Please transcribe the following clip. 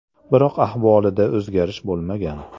Biroq ahvolida o‘zgarish bo‘lmagan.